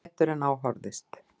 Betur en á horfðist.